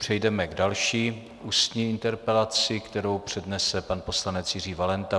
Přejdeme k další ústní interpelaci, kterou přednese pan poslanec Jiří Valenta.